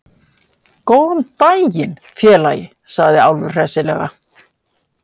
Góðan daginn, félagi, sagði Álfur hressilega.